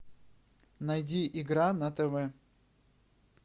найди игра на тв